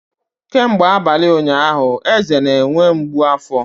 Kemgbe abalị ụnyaahụ, Eze na-enwe mgbu afọ.